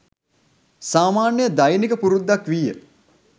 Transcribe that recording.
සාමාන්‍ය දෛනික පුරුද්දක් විය.